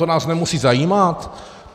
To nás nemusí zajímat.